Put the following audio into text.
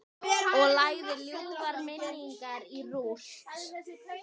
Og lagði ljúfar minningar í rúst.